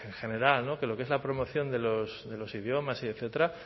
general de lo que es la promoción de los dos idiomas y etcétera